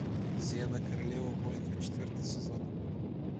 зена королева воинов четвертый сезон